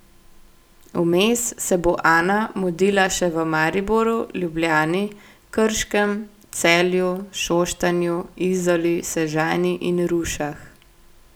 Vmes se bo Ana mudila še v Mariboru, Ljubljani, Krškem, Celju, Šoštanju, Izoli, Sežani in Rušah.